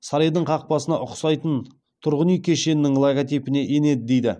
сарайдың қақпасына ұқсайтын тұрғын үй кешенінің логотипіне енеді дейді